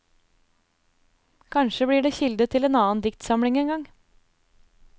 Kanskje blir det kilde til en annen diktsamling en gang.